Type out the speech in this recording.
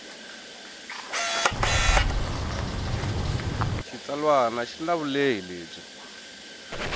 xitsalwana xi na vulehi lebyi